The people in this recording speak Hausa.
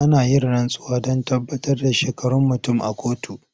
Ana yin rantsuwa don tabbatar da shekarun mutum a kotu.